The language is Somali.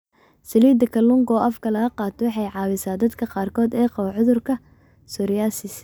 Saliidda kalluunka oo afka laga qaato waxay caawisaa dadka qaarkood ee qaba cudurka psoriasis.